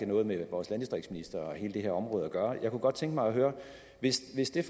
noget med vores landdistriktsminister og hele det her område at gøre jeg kunne godt tænke mig at høre hvis hvis det